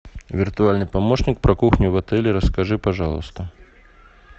виртуальный помощник про кухню в отеле расскажи пожалуйста